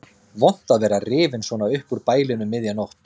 Vont að vera rifinn svona upp úr bælinu um miðja nótt.